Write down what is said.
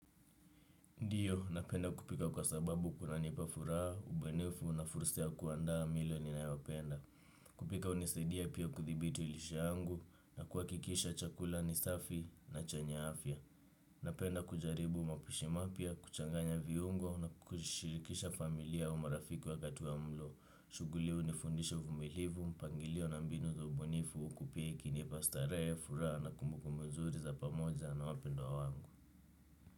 Ndiyo, napenda kupika kwa sababu kunanipa furaha, ubunifu na fursa ya kuandaa milo ninayopenda. Kupika hunisaidia pia kudhibiti lishe yangu na kuhakikisha chakula ni safi na chenye afya. Napenda kujaribu mapishi mapya, kuchanganya viungo na kushirikisha familia au marafiki wakati wa mlo. Shughuli unifundisha uvumilivu, mpangilio na mbinu za ubunifu huku pia ikinipa starehe furaha na kumbukumbu nzuri za pamoja na wapendwa wangu.